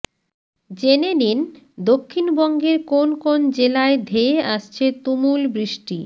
জেনে নিন দক্ষিণবঙ্গের কোন কোন জেলায় ধেয়ে আসছে তুমুল বৃষ্টি